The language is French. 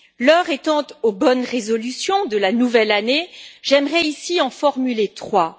L'heure étant aux bonnes résolutions de la nouvelle année, j'aimerais ici en formuler trois.